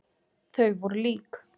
Þau voru lík.